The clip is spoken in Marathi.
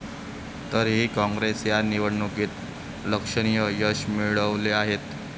तरीही काँग्रेसने या निवडणुकीत लक्षणीय यश मिळवले आहे.